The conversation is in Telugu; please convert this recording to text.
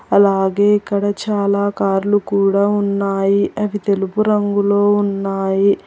అలాగే ఇక్కడ చాలా కార్లు కూడా ఉన్నాయి అవి తెలుగు రంగులో ఉన్నాయి.